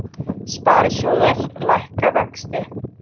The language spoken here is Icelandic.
Sparisjóðir lækka vexti